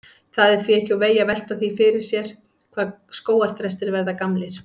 Það er því ekki úr vegi að velta því fyrir sér hvað skógarþrestir verða gamlir.